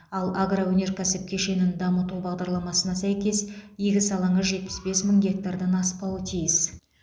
ал агроөнеркәсіп кешенін дамыту бағдарламасына сәйкес егіс алаңы жетпіс бес мың гектардан аспауы тиіс